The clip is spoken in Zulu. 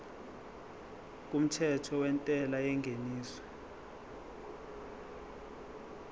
kumthetho wentela yengeniso